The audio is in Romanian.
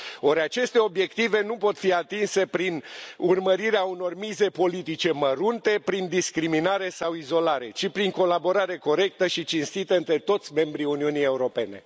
Or, aceste obiective nu pot fi atinse prin urmărirea unor mize politice mărunte, prin discriminare sau izolare, ci și prin colaborare corectă și cinstită între toți membrii Uniunii Europene.